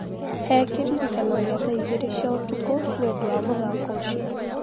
He kĩririkania gĩa thaa igĩrĩ cia ũtukũ nĩ ũndũ wa mũthako ucĩo.